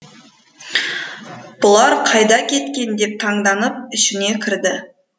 бұлар қайда кеткен деп таңданып ішіне кірді